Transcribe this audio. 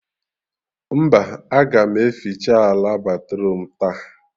Mba, a ga m eficha ala batruum taa